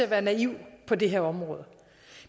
at være naiv på det her område